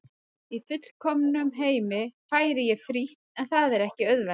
Í fullkomnum heimi færi ég frítt en það er ekki auðvelt.